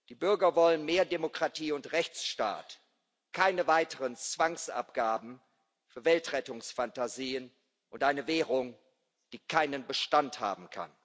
Die Bürger wollen mehr Demokratie und Rechtsstaat, keine weiteren Zwangsabgaben, Weltrettungsfantasien und eine Währung, die keinen Bestand haben kann.